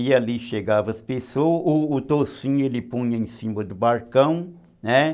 E ali chegavam as pessoas, o toucinho ele punha em cima do balcão, né?